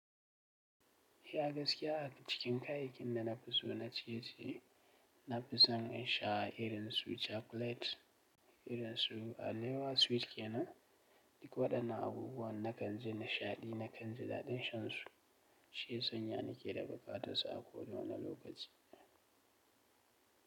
Iya gaskiya a cikin kayakin da na fi so na ciye-ciye na fi son in sha irin su chocolate. Irin su alewa sweet ke nan, duk waɗannan abubuwan na kan ji nishaɗi, na kan ji daɗin shan su. Shi ya sanya na ke da bukatan su a ko wane lokaci.